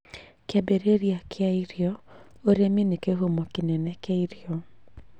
Kĩambĩrĩria kĩa irio: ũrĩmi nĩ kĩhumo kĩnene kĩa irio.